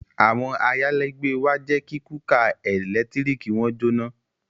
Àwọn ayálégbé wa jẹ́ kí kúkà ẹ̀lẹ́tíríkì wọn jóná